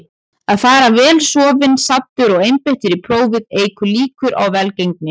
Að fara vel sofinn, saddur og einbeittur í prófið eykur líkur á velgengni.